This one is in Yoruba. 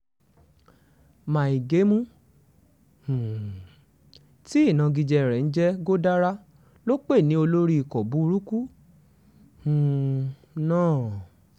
mai gemu um tí ìnagijẹ rẹ̀ ń jẹ́ godara ló pè ní olórí ikọ̀ burúkú um náà